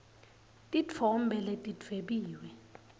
titfombe letidvwebiwe